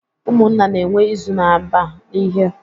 Ụmụnna na-enwe izu na-aba n'ihe.